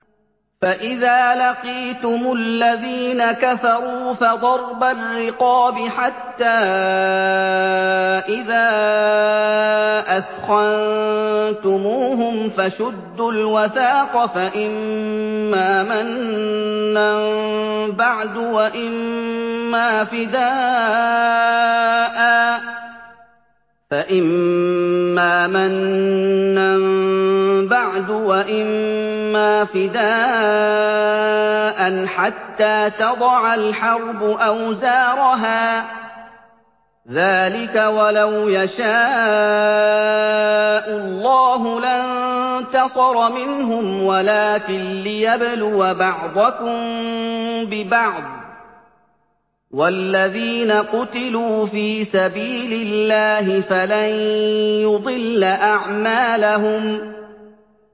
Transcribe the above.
فَإِذَا لَقِيتُمُ الَّذِينَ كَفَرُوا فَضَرْبَ الرِّقَابِ حَتَّىٰ إِذَا أَثْخَنتُمُوهُمْ فَشُدُّوا الْوَثَاقَ فَإِمَّا مَنًّا بَعْدُ وَإِمَّا فِدَاءً حَتَّىٰ تَضَعَ الْحَرْبُ أَوْزَارَهَا ۚ ذَٰلِكَ وَلَوْ يَشَاءُ اللَّهُ لَانتَصَرَ مِنْهُمْ وَلَٰكِن لِّيَبْلُوَ بَعْضَكُم بِبَعْضٍ ۗ وَالَّذِينَ قُتِلُوا فِي سَبِيلِ اللَّهِ فَلَن يُضِلَّ أَعْمَالَهُمْ